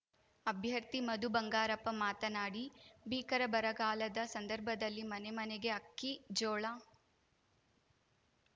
ಅಭ್ಯರ್ಥಿ ಮಧು ಬಂಗಾರಪ್ಪ ಮಾತನಾಡಿ ಭೀಕರ ಬರಗಾಲದ ಸಂದರ್ಭದಲ್ಲಿ ಮನೆಮನೆಗೆ ಅಕ್ಕಿ ಜೋಳ